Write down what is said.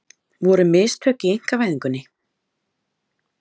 Voru mistök í einkavæðingunni?